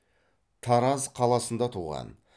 тараз қаласында туған